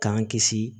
K'an kisi